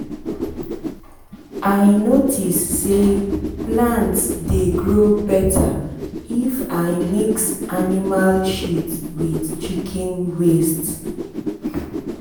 i notice say plant dey grow better if i mix animal shit with kitchen waste.